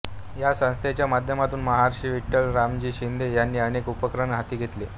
या संस्थेच्या माध्यमातून महर्षी विठ्ठल रामजी शिंदे यांनी अनेक उपक्रम हाती घेतले